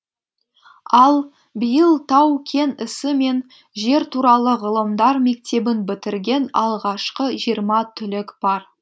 ал биыл тау кен ісі мен жер туралы ғылымдар мектебін бітірген алғашқы жиырма түлек бар